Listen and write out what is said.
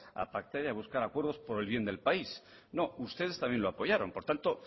a pactar y a buscar acuerdos por el bien del país no ustedes también lo apoyaron por tanto